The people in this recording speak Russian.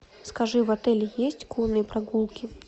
скажи в отеле есть конные прогулки